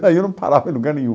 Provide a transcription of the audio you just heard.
Daí eu não parava em lugar nenhum.